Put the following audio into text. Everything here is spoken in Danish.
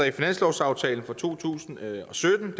i finanslovsaftalen for to tusind og sytten